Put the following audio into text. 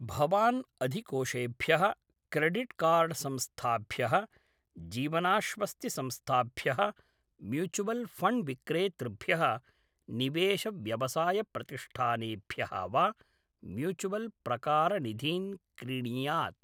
भवान् अधिकोषेभ्यः credit card संस्थाभ्यः जीवनाश्वस्तिसंस्थाभ्यः म्यूचुवल्‌ फ़ण्ड्विक्रेतृभ्यः, निवेशव्यवसायप्रतिष्ठानेभ्यः वा म्यूचुवल्‌प्रकारनिधीन् क्रीणीयात्।